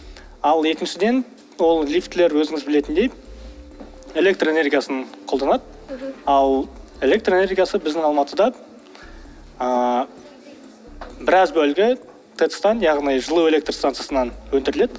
ал екіншіден ол лифтілер өзіңіз білетіндей электроэнергиясын қолданады мхм ал электроэнергиясы біздің алматыда ыыы біраз бөлігі тэц тан яғни жылу электростанциясынан өндіріледі